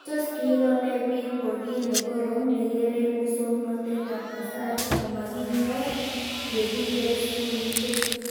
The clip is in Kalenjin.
Tos kiiro ne pik ko kiy ne korom nekerei muswognatet ab kasari komakinyor ye kiker sukulishek